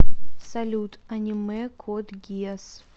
салют аниме код гиас